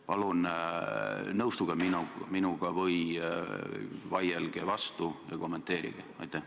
Palun nõustuge minuga või vaielge vastu ja kommenteerige!